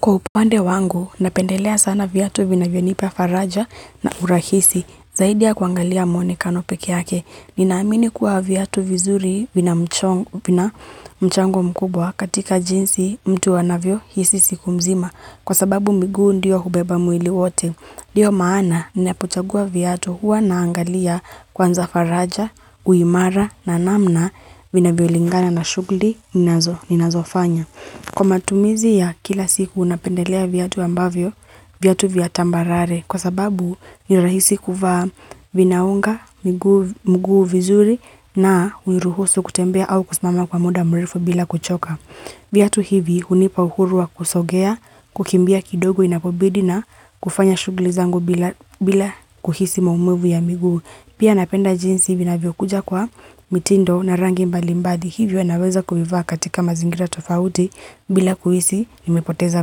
Kwa upande wangu, napendelea sana viatu vinavyonipa faraja na urahisi, zaidi ya kuangalia mwonekano pekee yake. Ninaamini kuwa viatu vizuri vina mchango mkubwa katika jinsi mtu anavyohisi siku mzima, kwa sababu miguu ndiyo hubeba mwili wote. Ndiyo maana, ninapochagua viatu huwa naangalia kwanza faraja, uimara na namna vinavyolingana na shughuli, ninazofanya. Kwa matumizi ya kila siku unapendelea viatu ambavyo, viatu vya tambarare kwa sababu ni rahisi kuvaa vinaunga mguu vizuri na uniruhusu kutembea au kusimama kwa muda mrefu bila kuchoka. Viatu hivi hunipa uhuru wa kusogea, kukimbia kidogo inapobidi na kufanya shughuli zangu bila kuhisi maumuvu ya miguu. Pia napenda jinsi vinavyokuja kwa mitindo na rangi mbalimbali hivyo naweza kuvivaa katika mazingira tofauti bila kuhisi nimepoteza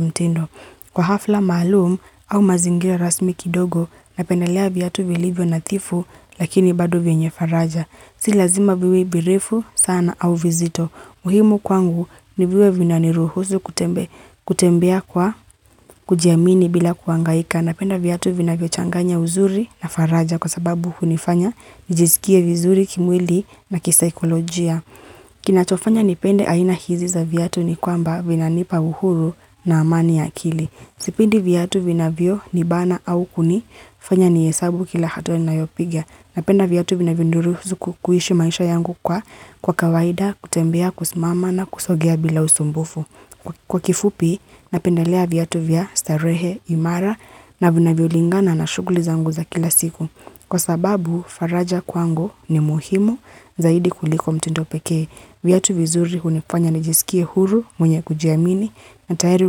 mitindo. Kwa hafla maalum au mazingira rasmi kidogo napendelea viatu vilivyo nadhifu lakini bad vyenye faraja. Si lazima viwe birifu sana au vizito. Muhimu kwangu ni viwe vinaniruhusu kutembea kwa kujiamini bila kuangaika napenda viatu vinavyo changanya uzuri na faraja kwa sababu hunifanya nijizikie vizuri kimwili na kisaikolojia. Kinachofanya nipende aina hizi za viatu ni kwamba vinanipa uhuru na amani ya kili. Sipindi viatu vinavyo nibana au kunifanya nihesabu kila hatua ninayopigia. Napenda viatu vinavyoniruhusu kuishi maisha yangu kwa kwa kawaida, kutembea, kusimama na kusogea bila usumbufu. Kwa kifupi, napendalea viatu vya starehe imara na vinavyo lingana na shughuli zangu za kila siku. Kwa sababu, faraja kwangu ni muhimu zaidi kuliko mtindo pekee. Viatu vizuri hunifanya najisikie huru mwenye kujiamini na tayari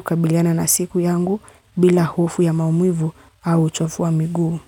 kukabiliana na siku yangu bila hofu ya maumivu au uchovu wa miguu.